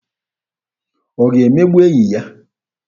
Ọ ga-emegbu enyi ya?